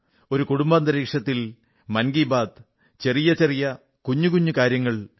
ഒരു കുടുംബാന്തരീക്ഷത്തിൽ മൻ കീ ബാത്ത് ചെറിയ ചെറിയ കുഞ്ഞു കുഞ്ഞു കാര്യങ്ങൾ